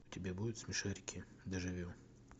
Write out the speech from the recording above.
у тебя будет смешарики дежавю